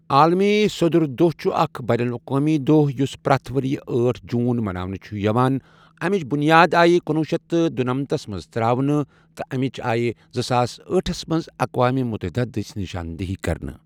عالمی سۆدُر دۄہ چھُ اَکھ یین الاقوٲمی دۄہ یُس پرٛتھ ؤرۍ یہٕ ٲٹھ جوٗن مناونہٕ چھُ یِوان اَمچ بُنیاد آیہ کُنوُہ شیٚتھ تہٕ دُنمتس منٛز ترٛاونہٕ تہ یہ امچ آیہ زٕ ساس ٲٹھس منٛز اقوامہ مُتحدہ دٔسۍ نِشاندِہی کرنہٕ۔